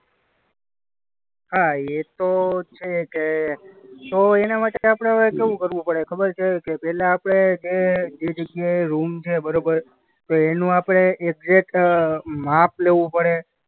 હા એતો છે કે એના માટે હવે આપણે કેવું કરવું પડે ખબર છે કે પહેલા આપણે કે જે જગ્યાએ રૂમ છે બરોબર? તો એનું આપણે એકઝેટ અ માપ લેવું પડે.